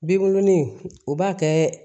Binkurunin u b'a kɛ